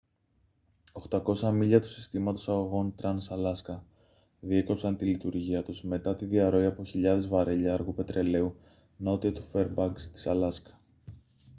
800 μίλια του συστήματος αγωγών trans-alaska διέκοψαν τη λειτουργία τους μετά τη διαρροή από χιλιάδες βαρέλια αργού πετρελαίου νότια του φέρμπανκς της αλάσκα